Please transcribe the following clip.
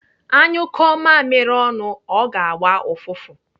À nyụkụọ mamiri ọnụ, ọ ga-agba ụfụfụ.